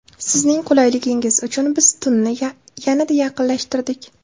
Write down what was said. Sizning qulayligingiz uchun biz tunni yanada yaqinlashtirdik!